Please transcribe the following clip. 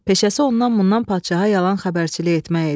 Peşəsi ondan-bundan padşaha yalan xəbərçilik etmək idi.